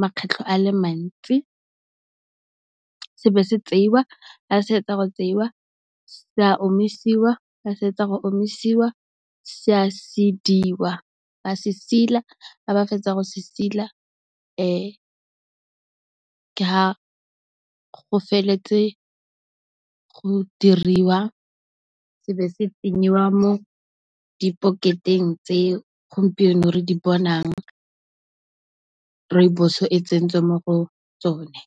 makgetlho a le mantsi. Se be se tseiwa, ga se fetsa go tseiwa, se a omisiwa, ga se fetsa go omisiwa, se a sediwa, ba se sila, ga ba fetsa go se sila. Ke ga go feletse, go diriwa se be se tsenyiwa mo di paketeng tse gompieno re di bonang Rooibos e tsentswe mo go tsone.